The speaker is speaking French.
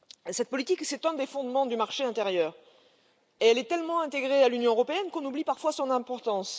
Cette politique est un des fondements du marché intérieur et elle est tellement intégrée à l'Union européenne qu'on oublie parfois son importance.